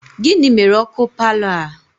Gịnị mere ọkụ paalọ a?